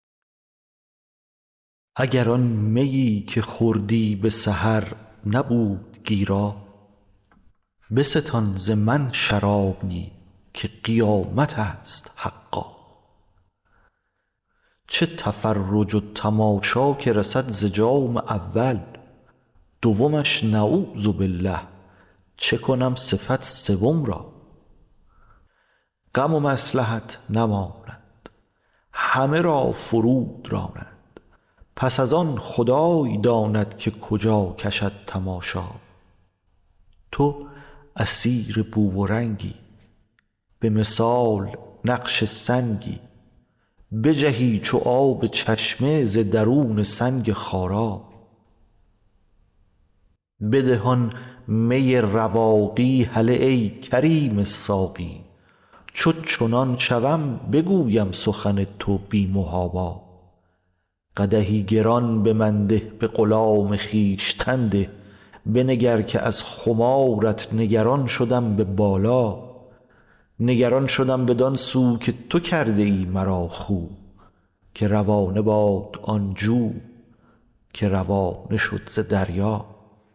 اگر آن میی که خوردی به سحر نبود گیرا بستان ز من شرابی که قیامت است حقا چه تفرج و تماشا که رسد ز جام اول دومش نعوذبالله چه کنم صفت سوم را غم و مصلحت نماند همه را فرو دراند پس از آن خدای داند که کجا کشد تماشا تو اسیر بو و رنگی به مثال نقش سنگی بجهی چو آب چشمه ز درون سنگ خارا بده آن می رواقی هله ای کریم ساقی چو چنان شوم بگویم سخن تو بی محابا قدحی گران به من ده به غلام خویشتن ده بنگر که از خمارت نگران شدم به بالا نگران شدم بدان سو که تو کرده ای مرا خو که روانه باد آن جو که روانه شد ز دریا